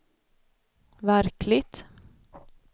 verkligt